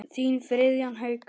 Þinn Friðjón Haukur.